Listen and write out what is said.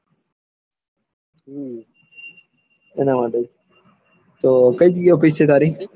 તો કઈ જગ્યા ઓફીસ છે તારી